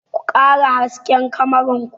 Ku ƙara hasken kamarar ku!